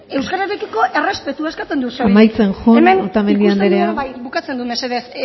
euskararekiko errespetua eskatzen dut amaitzen joan otamendi anderea hemen ikusten dugu bai bukatzen dut mesedez